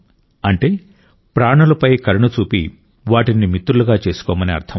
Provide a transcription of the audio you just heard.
అంటే ప్రాణులపై కరుణ చూపి వాటిని మిత్రులుగా చేసుకొమ్మని అర్థం